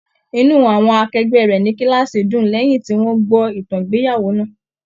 Inú àwọn akẹgbẹ rẹ ní kilaasi dùn lẹyìn tí wọn gbọ ìtàn ìgbéyàwó náà.